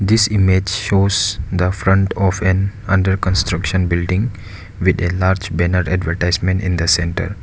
This image shows the front of an under construction building with a large banner advertisement in the centre.